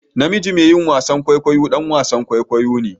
Namiji mai yin wasan kwaikwayo ɗan wasan kwaikwayo ne